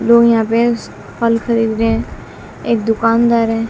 वो यहां पे स फल खरीद रहे एक दुकानदार है।